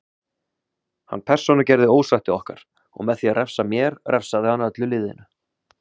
Hann persónugerði ósætti okkar og með því að refsa mér refsaði hann öllu liðinu.